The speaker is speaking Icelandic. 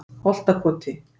Holtakoti